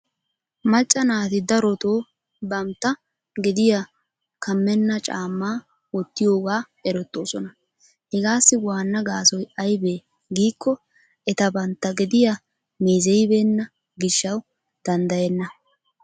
Macca naati darotoo bamtta gediya kamenna caamma wottiyooga erettoosona. Hegassi waana gaassoy aybbe giikko eta bantta gediyaa meezeyibeena gishshaw danddaayena.